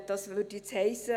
Das würde nun heissen: